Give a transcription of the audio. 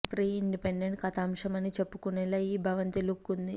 pre independent కథాంశం అని చెప్పుకునేలా ఈ భవంతి లుక్ ఉంది